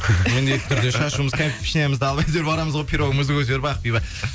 міндетті түрде шашуымыз кәмпит пішінәйымызды алып әйтеуір барамыз ғой пирогымызды көтеріп ақбибі